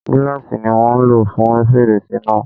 Gíláàsì ni wọ́n ń lò fún fèrèsé náà.